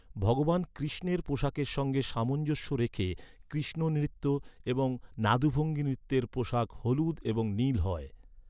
ভগবান কৃষ্ণের পোশাকের সঙ্গে সামঞ্জস্য রেখে কৃষ্ণ নৃত্য এবং নাদুভঙ্গী নৃত্যের পোশাক হলুদ এবং নীল হয়।